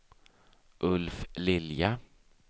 Ulf Lilja